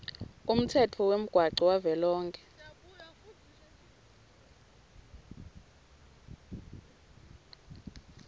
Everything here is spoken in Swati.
umtsetfo wemgwaco wavelonkhe